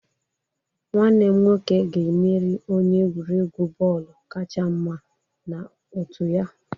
Nwanne m nwoke ga-emeri onye egwuregwu bọọlụ kacha mma na otu ya.